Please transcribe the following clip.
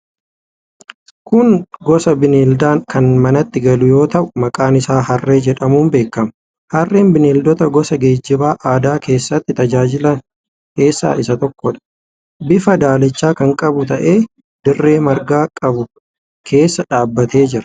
Kun gosa bineeldaa kan manatti galu yoo ta'u, maqaan isaa harree jedhamuun beekama. Harreen bineeldota gosa geejjiba aadaa keessatti tajaajilan keessaa isa tokkodha. Bifa daalacha kan qabu ta'ee, dirree marga qabu keessa dhaabbatee jira.